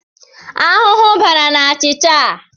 Ahụhụ bara n'achịcha a.